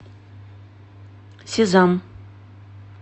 сезам